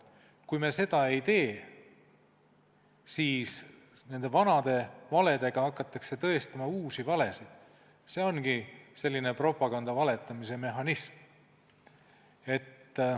Kui me seda ei tee, siis hakatakse vanade valedega tõestama uusi valesid, see ongi selline propagandavaletamise mehhanism.